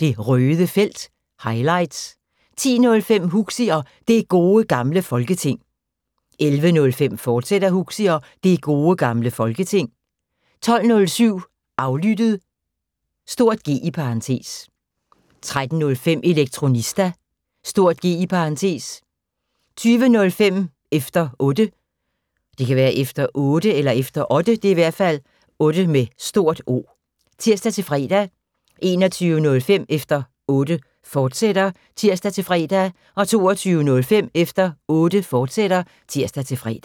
Det Røde Felt – highlights 10:05: Huxi og Det Gode Gamle Folketing 11:05: Huxi og Det Gode Gamle Folketing, fortsat 12:07: Aflyttet (G) 13:05: Elektronista (G) 20:05: Efter Otte (tir-fre) 21:05: Efter Otte, fortsat (tir-fre) 22:05: Efter Otte, fortsat (tir-fre)